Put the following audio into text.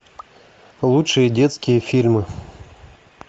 лучшие детские фильмы